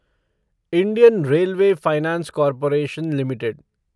Indian Railway Finance Corporation limited